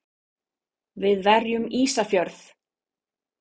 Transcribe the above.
Við verjum Ísafjörð!